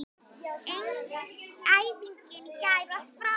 Æfingin í gær var frábær.